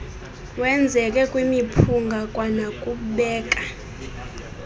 wenzeke kwimiphunga kwanokubeka